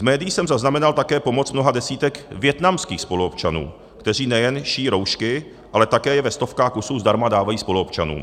V médiích jsem zaznamenal také pomoc mnoha desítek vietnamských spoluobčanů, kteří nejen šijí roušky, ale také je ve stovkách kusů zdarma dávají spoluobčanům.